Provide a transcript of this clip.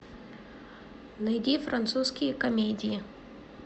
найди французские комедии